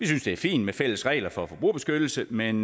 synes det er fint med fælles regler for forbrugerbeskyttelse men